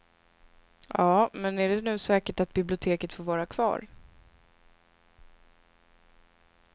Ja, men är det nu säkert att biblioteket får vara kvar?